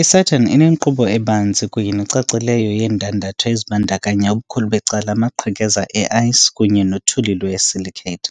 I-Saturn inenkqubo ebanzi kunye necacileyo yeendandatho ezibandakanya ubukhulu becala amaqhekeza e-ice kunye nothuli lwe-silicate.